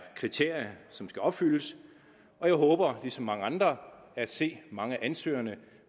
kriterier som skal opfyldes og jeg håber ligesom mange andre at se mange af ansøgerne